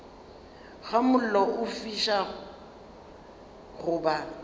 ga mollo o fišago goba